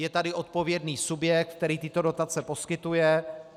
Je tady odpovědný subjekt, který tyto dotace poskytuje.